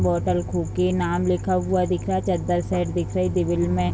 Hotel Cookie नाम लिखा हुआ दिख रहा है चद्दर साइड दिख रही है में।